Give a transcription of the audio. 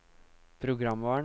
programvaren